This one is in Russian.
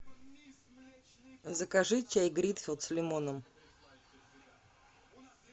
закажи чай гринфилд с лимоном